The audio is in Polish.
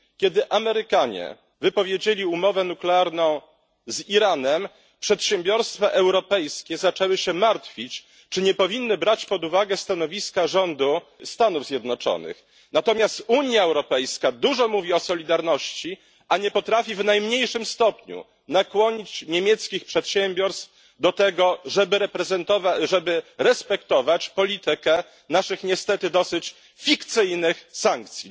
Kiedy Amerykanie wypowiedzieli umowę nuklearną z Iranem, przedsiębiorstwa europejskie zaczęły się martwić, czy nie powinny brać pod uwagę stanowiska rządu Stanów Zjednoczonych. Natomiast Unia Europejska dużo mówi o solidarności, a nie potrafi w najmniejszym stopniu nakłonić niemieckich przedsiębiorstw do tego, żeby respektowały politykę naszych niestety dosyć fikcyjnych sankcji.